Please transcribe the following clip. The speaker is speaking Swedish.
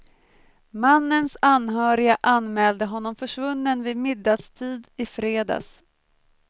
Mannens anhöriga anmälde honom försvunnen vid middagstid i fredags.